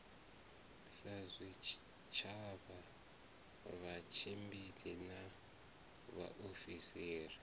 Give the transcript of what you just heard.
sa zwitshavha vhatshimbidzi na vhaofisiri